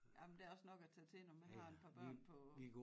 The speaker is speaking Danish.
Ja men der er også nok at tage til når man har en par børn på